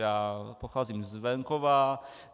Já pocházím z venkova.